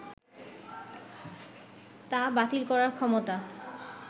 তা বাতিল করার ক্ষমতা